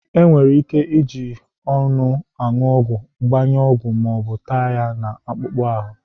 Enwere ike iji ọnụ anu ọgwụ, gbanye ọgwụ, ma ọ bụ tee ya na akpụkpọ ahụ.